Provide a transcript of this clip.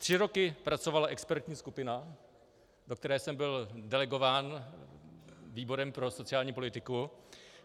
Tři roky pracovala expertní skupina, do které jsem byl delegován výborem pro sociální politiku.